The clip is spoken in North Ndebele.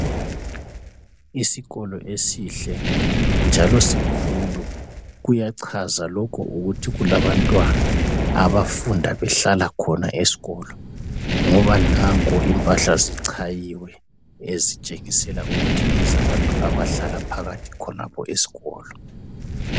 Isikolo esihle njalo sikhulu kuyachaza lokho ukuthi kulabantwana abafunda behlala khona esikolo ngoba nanko impahla zichayiwe ezitshengisela ukuthi ngezabantu abahlala phakathi khonapho esikolo.